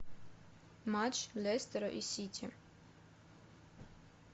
матч лестера и сити